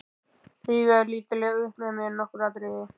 Rifjaðu lítillega upp með mér nokkur atriði.